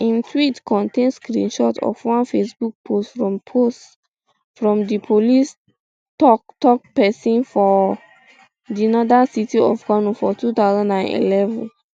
im tweet contain screenshot of one facebook post from post from di police toktok pesin for um di northern city of kano for two thousand and eleven